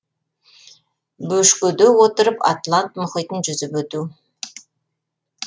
бөшкеде отырып атлант мұхитын жүзіп өту